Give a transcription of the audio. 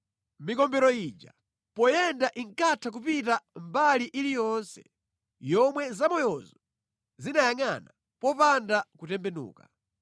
Mikombero ija poyenda inkatha kupita mbali iliyonse yomwe zamoyozo zinayangʼana popanda kutembenuka.